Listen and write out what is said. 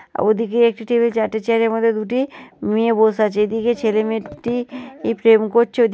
আর ওদিকে একটি টেবিল চারটে চেয়ার এর মধ্যে দুটি মেয়ে বসে আছে। এদিকে ছেলে মেয়ে দুটি প্রেম করছে। ওই--